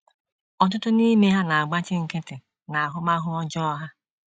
* Ọtụtụ n’ime ha na - agbachi nkịtị n’ahụmahụ ọjọọ ha.